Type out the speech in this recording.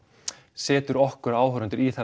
setur okkur áhorfendur í